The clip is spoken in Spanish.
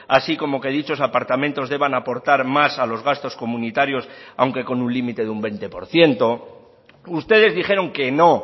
así como que dichos apartamentos deban aportar más a los gastos comunitarios aunque con un límite de un veinte por ciento ustedes dijeron que no